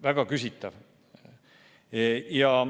Väga küsitav.